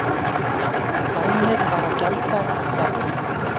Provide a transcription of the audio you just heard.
Lánið var á gjalddaga í dag